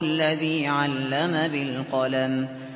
الَّذِي عَلَّمَ بِالْقَلَمِ